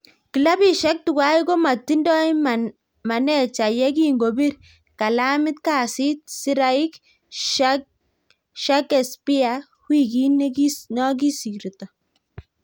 Klabisiek tuwai komatindoi manecha ye kingobir kalamit kasit Craig Shakespeare wikit nikosirto.